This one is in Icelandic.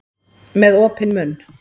Með opinn munn.